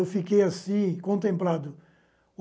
Eu fiquei assim contemplado.